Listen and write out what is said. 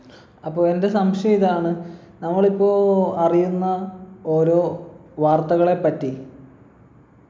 അപ്പോൾ എൻ്റെ സംശയം ഇതാണ് നമ്മൾ ഇപ്പോ അറിയുന്ന ഓരോ വാർത്തകളെ പറ്റി